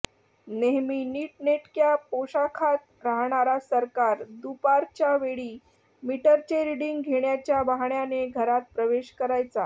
नेहमी नीटनेटक्या पोशाखात राहणारा सरकार दुपारच्यावेळी मीटरचे रीडिंग घेण्याच्या बहाण्याने घरात प्रवेश करायचा